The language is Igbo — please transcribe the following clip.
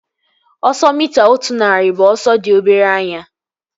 Ọsọ mita otu narị bụ ọsọ dị obere anya